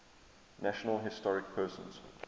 national historic persons